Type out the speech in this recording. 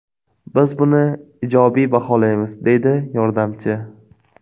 Biz buni ijobiy baholaymiz”, deydi yordamchi.